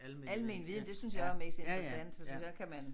Almen viden det synes jeg også er mest interessant fordi så kan man